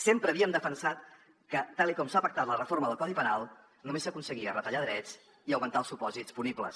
sempre havíem defensat que tal com s’ha pactat la reforma del codi penal només s’aconseguia retallar drets i augmentar els supòsits punibles